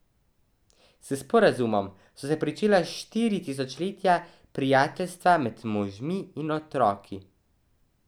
S sporazumom so se pričela štiri tisočletja prijateljstva med možmi in otroki.